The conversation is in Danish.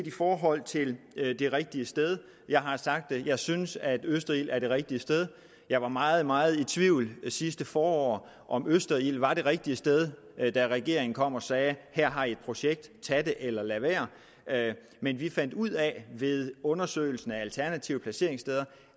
i forhold til det rigtige sted har jeg sagt at jeg synes at østerild er det rigtige sted jeg var meget meget i tvivl sidste forår om østerild var det rigtige sted da regeringen kom og sagde her har i et projekt tag det eller lad være men vi fandt ud af ved undersøgelsen af alternative placeringssteder